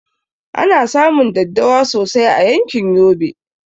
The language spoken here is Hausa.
Ana samun daddawa sosai a yankin yobe